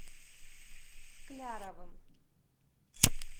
скляровым